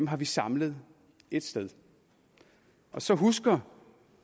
har vi samlet ét sted så husker